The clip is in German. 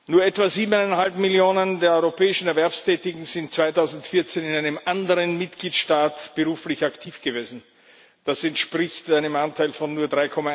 Nur etwa 7,5 Millionen der europäischen Erwerbstätigen sind 2014 in einem anderen Mitgliedstaat beruflich aktiv gewesen. Das entspricht einem Anteil von nur